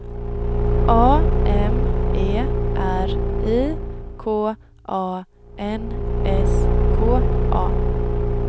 A M E R I K A N S K A